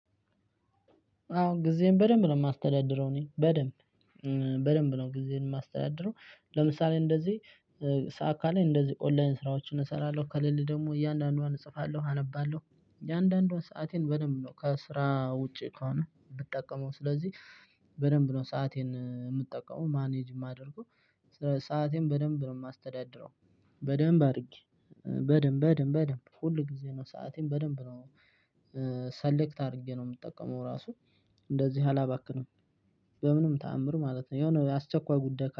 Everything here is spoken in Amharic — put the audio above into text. አዎ ጊዜን በደንብ ነው የማስተዳድረው እኔ በደንብ በደንብ ነው ጊዜን የማስተዳድረው። ለምሳሌ እንደዚህ ሰዓት ካለኝ እንደዚህ ኦንላይን ስራዎችን እሰራለሁ ከሌለ ደግሞ እያንዳንዱን እጽፋለሁ አነባለሁ። የአንዳንዷን ሰአቴን በደንብ ነው ከስራ ውጪ ከሆነ ብጠቀመው ስለዚህ። በደንብ ነው ሰአቴን የምጠቀመው ማኔጅ የማደርገው። ሰአቴን በደንብ ነው የማስተዳድረው። በደንብ አድርጌ በደንብ በደንብ በደንብ ሁል ጊዜ ነው ሰአቴን በደንብ ነው። ሰሌክት አድርጌ ነው የምጠቀመው ራሱ። እንደዚህ አላባክንም። በምንም ተአምር ማለት ነው የሆነ የአስቸኳይ ጉዳይ